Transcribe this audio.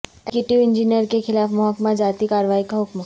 executive engineer کے خلاف محکمہ جاتی کارروائی کا حکم